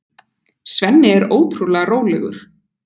Svenni er ótrúlega rólegur.